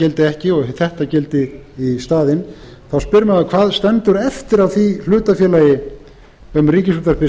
gildi ekki og þetta gildi í staðinn þá spyr maður hvað stendur eftir af því hlutafélagi um ríkisútvarpið